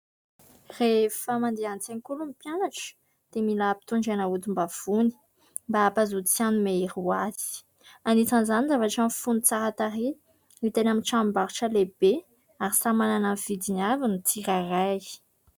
Rehefa mandeha an-tsekoly ny mpianatra dia mila ampitondraina odim-bavony mba hampazoto sy hanome hery azy. Anisan'izany ny zavatra mifono tsara tarehy, hita eny amin'ny tranombarotra lehibe ary samy manana ny vidiny avy ny tsirairay.